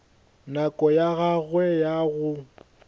nako ya gagwe ya go